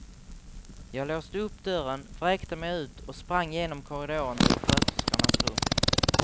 Jag låste upp dörren, vräkte mig ut och sprang genom korridoren till sköterskornas rum.